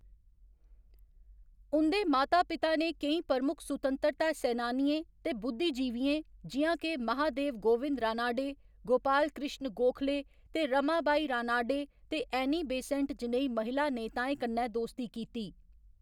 उं'दे माता पिता ने केईं प्रमुख सुतैंतरता सैनानियें ते बुद्धिजीवियें जि'यां के महादेव गोविंद रानाडे, गोपाल कृष्ण गोखले ते रमाबाई रानाडे ते एनी बेसेंट जनेही महिला नेताएं कन्नै दोस्ती कीती।